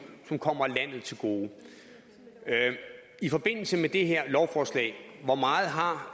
som kommer landet til gode i forbindelse med det her lovforslag hvor meget har